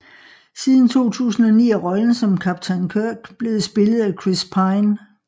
Siden 2009 er rollen som kaptajn Kirk blevet spillet af Chris Pine